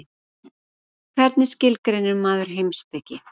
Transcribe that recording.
Hvernig skilgreinir maður heimspeki?